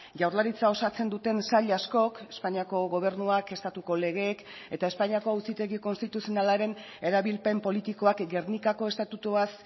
jaurlaritza osatzen duten sail askok espainiako gobernuak estatuko legeek eta espainiako auzitegi konstituzionalaren erabilpen politikoak gernikako estatutuaz